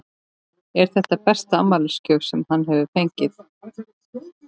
Eru þetta besta afmælisgjöf sem hann hefur fengið?